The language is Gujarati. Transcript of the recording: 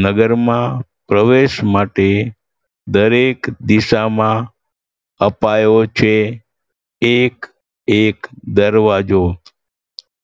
નગરમાં પ્રવેશ માટે દરેક દિશામાં અપાયો છે એક એક દરવાજો.